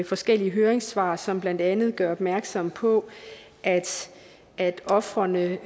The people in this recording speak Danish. forskellige høringssvar som blandt andet gør opmærksom på at ofrene